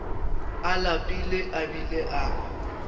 a lapile a bile a